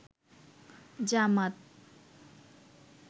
জামাত